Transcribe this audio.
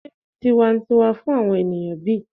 se tiwantiwa fun awon eniyan bi?